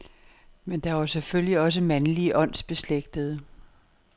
Men der var selvfølgelig også mandlige åndsbeslægtede.